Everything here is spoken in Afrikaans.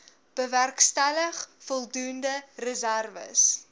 bewerkstellig voldoende reserwes